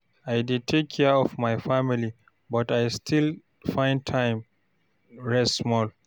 I dey take care of my family, but I still find time rest small.